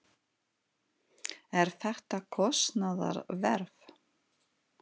En er þetta kostnaðarverð?